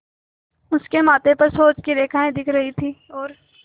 उसके माथे पर सोच की रेखाएँ दिख रही थीं और